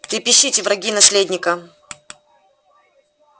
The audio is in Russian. трепещите враги наследника